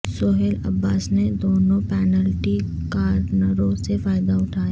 سہیل عباس نے دونوں پینلٹی کارنروں سے فائدہ اٹھایا